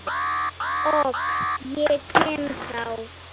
OK, ég kem þá!